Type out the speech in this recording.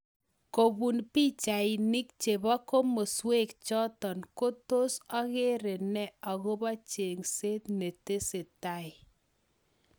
Kobun pichainik chebo kimaswek chotok ko tos ogere nee akobo chengset ne tesetai?